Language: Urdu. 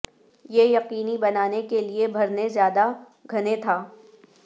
یہ یقینی بنانے کے لئے بھرنے زیادہ گھنے تھا